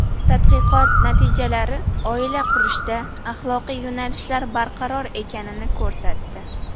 Tadqiqot natijalari oila qurishda axloqiy yo‘nalishlar barqaror ekanini ko‘rsatdi.